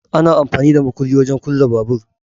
Ana amfani da makulli wajen kulle babur